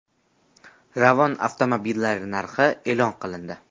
Ravon avtomobillari narxi e’lon qilindi.